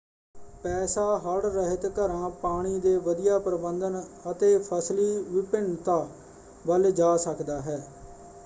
ਪੈਸਾ ਹੜ੍ਹ-ਰਹਿਤ ਘਰਾਂ ਪਾਣੀ ਦੇ ਵਧੀਆ ਪ੍ਰਬੰਧਨ ਅਤੇ ਫਸਲੀ ਵਿਭਿੰਨਤਾ ਵੱਲ ਜਾ ਸਕਦਾ ਹੈ।